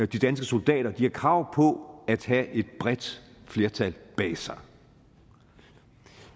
de danske soldater har krav på at have et bredt flertal bag sig